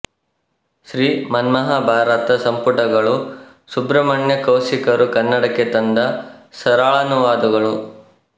ಶ್ರೀ ಮನ್ಮಹಾಭಾರತ ಸಂಪುಟಗಳು ಸುಬ್ರಹ್ಮಣ್ಯ ಕೌಶಿಕರು ಕನ್ನಡಕ್ಕೆ ತಂದ ಸರಳಾನುವಾದಗಳು